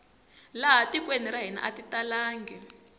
laha tikweni ra hina ati talangi